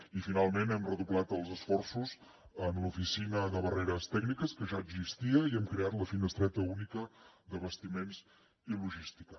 i finalment hem redoblat els esforços en l’oficina de barreres tècniques que ja existia i hem creat la finestreta única d’abastiments i logística